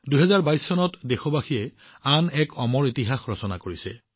২০২২ চনত দেশবাসীয়ে অমৰ ইতিহাসৰ আন এটা অধ্যায় ৰচনা কৰিছে